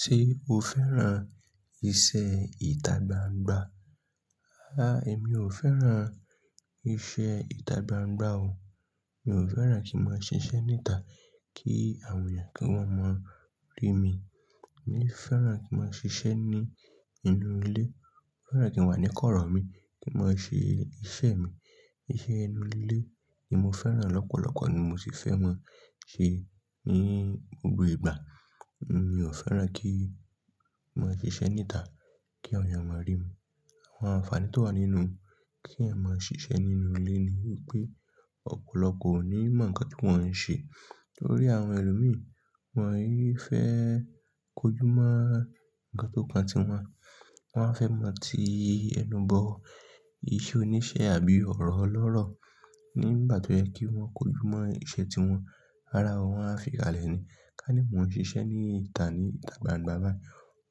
Ṣé o fẹ́ràn iṣẹ́ ìtagbangba? Aà, èmi ò fẹ́ràn iṣẹ́ ìtagbangba o. Mi ò fẹ́ràn kí n máa ṣiṣẹ́ ní ìta kí àwọn èèyàn kí wọ́n máa rí mi. Mo fẹ́ràn kí n máa ṣiṣẹ́ ní inú ilé. Mo fẹ́ràn kí n wà níkọ̀rọ̀ mi, kí n máa ṣe iṣẹ́ mi. Iṣẹ́ inú ilé ni mo fẹ́ràn lọ́pọ̀lọpọ̀ ni mo sì fẹ́ máa ṣe ní gbogbo ìgbà. Mi ò fẹ́ràn kí n máa ṣiṣẹ́ ní ìta kí àwọn èèyàn máa rí mi. Àwọn àǹfààní tó wà nínú kí ẹ̀ máa ṣiṣẹ́ nínú ilé ni wípé ọ̀pọ̀lọpọ̀ ò ní mọ̀ ǹkan tí wọ́n ń ṣe. Nítorí àwọn ẹlòmíràn, wọ́n yóò fẹ́ kojú mọ́ ǹkan tó kan tiwọn, wọ́n a fẹ́ mọ̀ tí ẹnu bọ̀, iṣẹ́ oníṣẹ́ àbí ọ̀rọ̀ lọ́rọ̀. Ní ìgbà tó yẹ kí wọ́n kojú mọ́ iṣẹ́ tí wọ́n, rárá wọ́n á fikalẹ̀ ni. Ká ní mò ń ṣiṣẹ́ ní ìta ní ìtagbangba báyìí,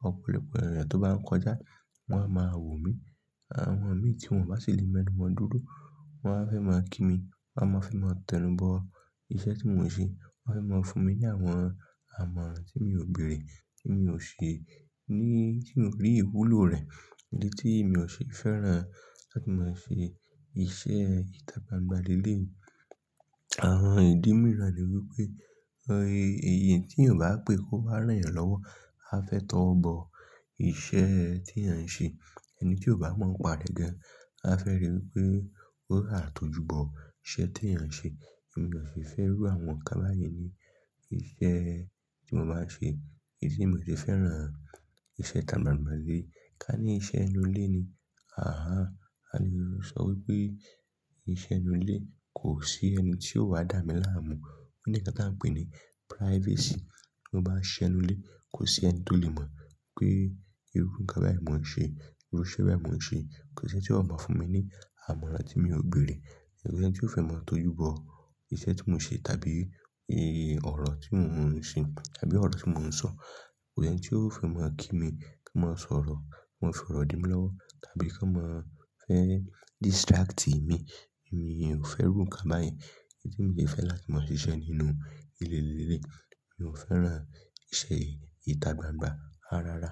ọ̀pọ̀lọpọ̀ èèyàn tó bá ń kọjá wọ́n á máa wò mí. Àwọn ọ̀n mí tí wọ́n bá sì lé mẹ́nù wọ́n dúro, wọ́n á fẹ́ máa kí mi, wọ́n á máa fi máa tẹnubọ iṣẹ́ tí mò ń ṣe. Wọ́n á máa fún mi ní àwọn àmọ̀ tí mi ò bèèrè, tí mi ò ṣe ní-- tí mò rí ìwúlò rẹ̀. Èyí tí mi ò ṣe fẹ́ràn láti máa ṣe iṣẹ́ ìtagbangba lé léyi. Àwọn ìdí mìíràn ni wípé, ẹ̀eyan tí èèyàn bá pè kó wá ràn yan lọ́wọ́, á fẹ́ tọ́ ọ bọ iṣẹ́ tí ẹ̀eyan ń ṣe. Ẹni tí ò bá mọ̀ ọ́n pa re gan-an, á fẹ́ rí wípé ó há tọjú bọ iṣẹ́ tí ẹ̀eyan ń ṣe. Èmi ò ṣe fẹ́ ru àwọn nǹkan báyen ní iṣẹ́ tí mò máa ṣe. Èyí tí mi ò ṣe fẹ́ràn, iṣẹ́ itagbangba lé léyi. Ká ní iṣẹ́ inú ilé ni, àhá. A lè sọ wípé iṣẹ́ inú ilé kò sí ẹni tí ó wà dá mi láàmú. Ó ní ǹkan tí à ń pè ní privacy. Ti mo bá n siṣe nu ilé, kò sí ẹni tó lè mọ̀ pé irú nǹkan báyìí mò ń ṣe, irú iṣẹ́ báyìí mò ń ṣe. Kò sí ẹni tí ó máa fún mi ní àmọ̀ran tí mi ò bèèrè. Kò sí ẹni tí ó fẹ́ máa tọjú bọ iṣẹ́ tí mò ń ṣe tàbí orò tí mò mo ń ṣe tàbí ọ̀rọ̀ tí mò ń sọ. Kò sí ẹni tí ó fẹ́ máa kí mi kí n máa sọ̀rọ̀, máa fọ̀rọ̀ di mí lọ́wọ́ tàbí kan máa fẹ́ distract mi. Èmi ò fẹ́ ru nǹkan báyìí. Èyí tí mò ṣe fẹ́ láti máa ṣiṣẹ́ nínú ilé lé léyi. Mi ò fẹ́ràn iṣẹ́ ìtagbangba, ràráárá.